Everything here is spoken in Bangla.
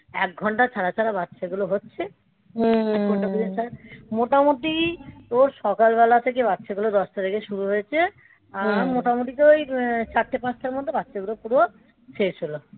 সব এক ঘণ্টা ছাড়া ছাড়া বাচ্চাগুলো হচ্ছে. মোটামুটি তোর সকালবেলা থেকে বাচ্চাগুলো দশ তারিখে শুরু হয়েছে আর মোটামুটি তো ওই চারটে পাঁচটার মধ্যে বাচ্চাগুলো পুরো শেষ হল.